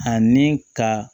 Ani ka